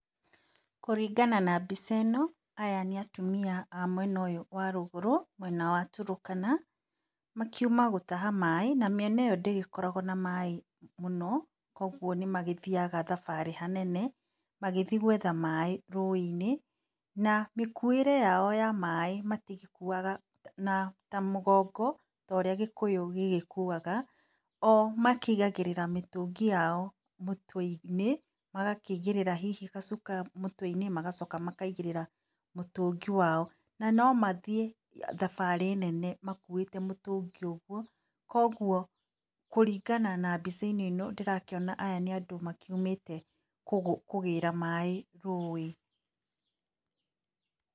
Kũringana na mbica ĩno, aya nĩ atumia a mwena ũyũ wa rũgũrũ mwena wa turukana. Makiuma gũtaha maĩ na mĩena ĩo ndĩgĩkoragwo na maĩ mũno, koguo nĩ magĩthiaga thabarĩ nene, magĩthiĩ gwetha maĩ rũĩ -inĩ, na mĩkuĩre yao ya maĩ matigĩkuaga ta mũgongo, ta ũrĩa gĩkũyũ gĩgĩkuaga. O makĩigagĩrĩra mĩtũngi yao mũtwe -inĩ, magakĩigĩrĩra gacuka mũtwe -inĩ magacoka makaigĩrĩra mũtũngi wao. Nano mathiĩ thabarĩ nene makuĩte mũtũngi ũguo, koguo, kũringana na mbica-inĩ ĩno ndĩrakĩona aya nĩ andũ makiumĩte, kũgĩra maĩ rũĩ.